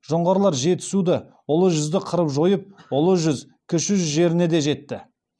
жоңғарлар жетісуды ұлы жүзді қырып жойып ұлы жүз кіші жүз жеріне де жетті